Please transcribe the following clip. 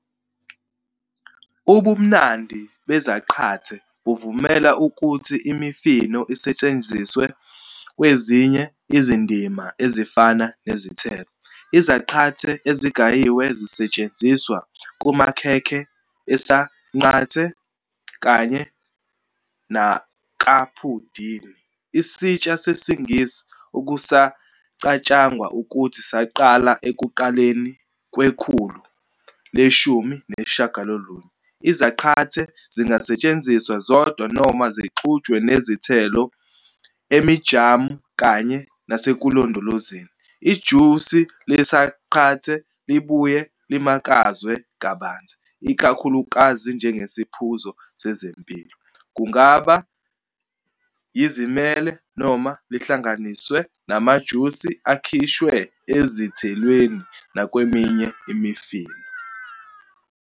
Ubumnandi bezaqathe buvumela ukuthi imifino isetshenziswe kwezinye izindima ezifana nezithelo. Izaqathe ezigayiwe zisetshenziswa kumakhekhe esanqante, kanye nakaphudingi, isitsha sesiNgisi okucatshangwa ukuthi saqala ekuqaleni kwekhulu le-19. Izaqathe zingasetshenziswa zodwa noma zixutshwe nezithelo emijamu kanye nasekulondolozeni. Ijusi leSanqante libuye limakazwe kabanzi, ikakhulukazi njengesiphuzo sezempilo, kungaba yizimele noma lihlanganiswe namajusi akhishwe ezithelweni nakweminye imifino.